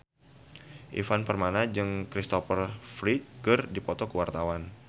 Ivan Permana jeung Kristopher Reeve keur dipoto ku wartawan